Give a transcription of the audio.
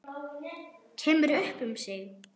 Kemur upp um sig.